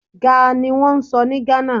Gá niwọ́n ń sọ ní Ghana.